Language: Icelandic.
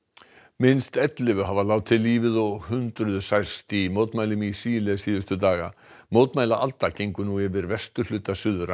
minnst ellefu hafa látið lífið og hundruð særst í mótmælum í Síle síðustu daga mótmælaalda gengur nú yfir vesturhluta Suður